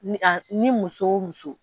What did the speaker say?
A ni muso o muso